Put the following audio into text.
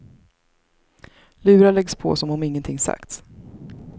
Lurar läggs på som om ingenting sagts.